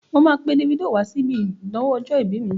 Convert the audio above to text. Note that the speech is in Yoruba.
Mà á pe Davido wásíbi ìnáwó ọjọ̀-ìbí mi.